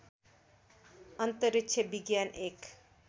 अन्तरिक्ष विज्ञान एक